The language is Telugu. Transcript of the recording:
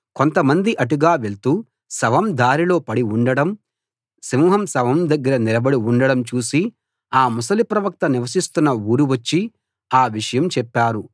కొంతమంది అటుగా వెళ్తూ శవం దారిలో పడి ఉండడం సింహం శవం దగ్గర నిలబడి ఉండడం చూసి ఆ ముసలి ప్రవక్త నివసిస్తున్న ఊరు వచ్చి ఆ విషయం చెప్పారు